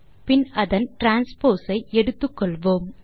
பின் அதன் டிரான்ஸ்போஸ் ஐ எடுத்துக்கொள்வோம்